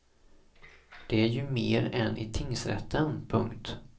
Det är ju mer än i tingsrätten. punkt